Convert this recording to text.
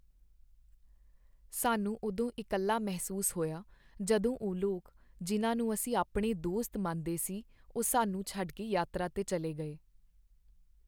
ਸਾਨੂੰ ਉਦੋਂ ਇਕੱਲਾ ਮਹਿਸੂਸ ਹੋਇਆ ਜਦੋਂ ਉਹ ਲੋਕ ਜਿਨ੍ਹਾਂ ਨੂੰ ਅਸੀਂ ਆਪਣੇ ਦੋਸਤ ਮੰਨਦੇ ਸੀ ਉਹ ਸਾਨੂੰ ਛੱਡ ਕੇ ਯਾਤਰਾ 'ਤੇ ਚੱਲੇ ਗਏ।